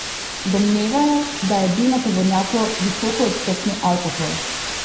Domnevajo, da je bil na tovornjaku visokoodstotni alkohol.